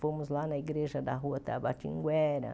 Fomos lá na Igreja da Rua Tabatinguera.